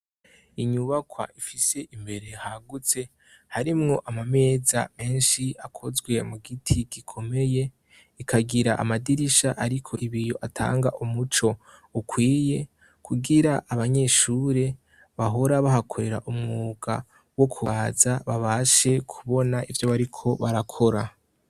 Inyubakwa ifise imbere hagutse harimwo amameza menshi akozwe mu giti gikomeye ikagira amadirisha, ariko ibiyo atanga umuco ukwiye kugira abanyeshure bahora bahakorera umwuka wo kubaza babashe kubona ivyoe, ariko barakora.